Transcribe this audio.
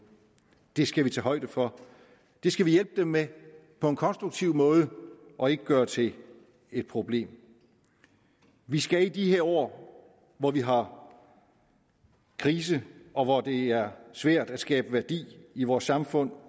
det skal vi tage højde for det skal vi hjælpe dem med på en konstruktiv måde og ikke gøre til et problem vi skal i de her år hvor vi har krise og hvor det er svært at skabe værdi i vores samfund